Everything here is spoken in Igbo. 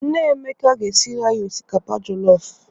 Nne Emeka ga-esiri anyị osikapa jọlọfụ.